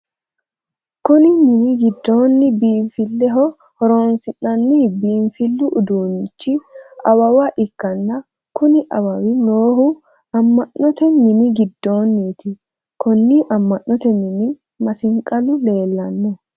Kunni minni gidoonni biinfileho horoonsi'noonni biinfilu uduunicho awawa ikanna kunni awawi noohu ama'note minni gidoonniiti. Konni ama'note minne masiqalu leelano.